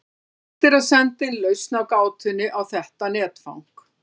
Hægt er að senda inn lausn á gátunni á þetta netfang.